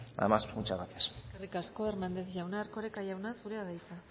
nada más muchas gracias eskerrik asko hernández jauna erkoreka jauna zurea da hitza